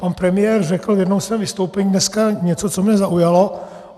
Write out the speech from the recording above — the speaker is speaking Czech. Pan premiér řekl v jednom svém vystoupení dneska něco, co mě zaujalo.